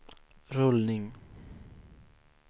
rullning